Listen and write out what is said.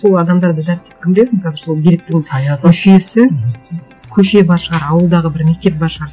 сол адамдарды дәріптеп кім білесің қазір сол биліктің мүшесі мхм көше бар шығар ауылдағы бір мектеп бар шығар